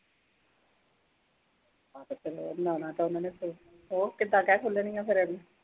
ਅੱਛਾ ਚਲ ਵਧੀਆ ਹੋਰ ਕਿੱਦਾਂ ਕਹਿ-ਸੁਣ ਲੈਨੀ ਆਂ ਫਿਰ